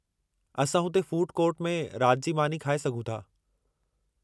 असां हुते food court में रात जी मानी खाए सघूं था।